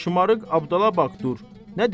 Şımarıq Abdallah bax, dur!